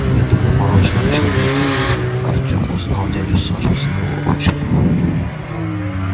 и в этом обмороженном человеке артем узнал дядю сашу своего отчима